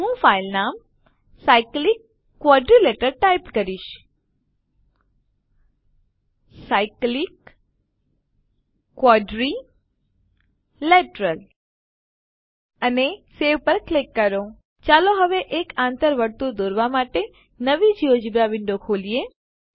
હું ફાઈલનું નામ cyclic quadrilateral ટાઈપ કરીશ અને સવે પર ક્લિક કરો ચાલો હવે એક આંતર વર્તુળ દોરવા માટે નવી જિયોજેબ્રા વિન્ડો ખોલીએ